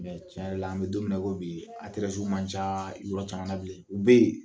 Mɛ tiɲɛ yɛrɛɛ la n bɛ don min na i ko bi yen man ca yɔrɔ caman bilen, u bɛ yen